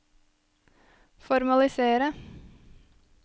formalisere